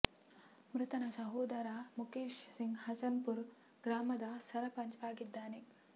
ಮೃತನ ಸಹೋದರ ಮುಖೇಶ್ ಸಿಂಗ್ ಹಸನ್ ಪುರ ಗ್ರಾಮದ ಸರಪಂಚ್ ಆಗಿದ್ದಾರೆ